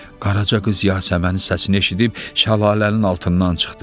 Qaraca qız Yasəmənin səsini eşidib şəlalənin altından çıxdı.